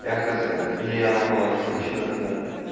я хз или я на оборот отключеный тогда